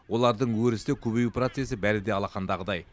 олардың өрісі де көбею процесі бәрі де алақандағыдай